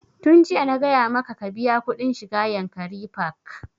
Tun jiya na gaya maka ka biya kuɗin shiga yankari park!